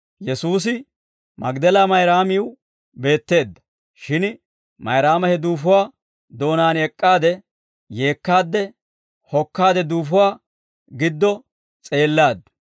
Shin Mayraama he duufuwaa doonaan ek'k'aade yeekkaadde hokkaade duufuwaa giddo s'eellaaddu.